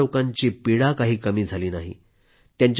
परंतु या लोकांची पीडा काही कमी झाली नाही